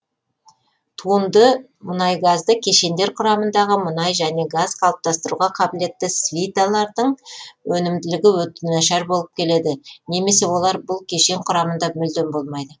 туынды мұнайгазды кешендер құрамындағы мұнай немесе газ қалыптастыруға қабілетті свиталардың өнімділігі өте нашар болып келеді немесе олар бұл кешен құрамында мүлдем болмайды